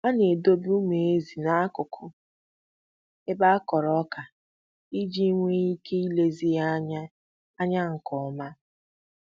A na-edobe ụmụ ezi n'akụkụ ebe a kụrụ ọka iji nwee ike ilezi ha anya anya nke oma.